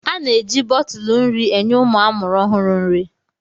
A na-eji bọtụlụ nri enye ụmụ amụrụ ọhụrụ nri.